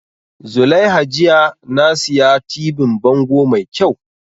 Zulaiha jiya na siya tibin bango mai kyau